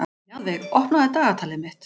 Mjaðveig, opnaðu dagatalið mitt.